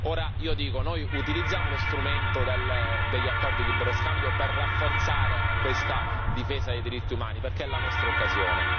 Ora io dico, utilizziamo lo strumento degli accordi di libero scambio per rafforzare questa difesa dei diritti umani perché è la nostra occasione.